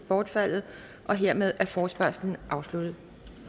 bortfaldet hermed er forespørgslen afsluttet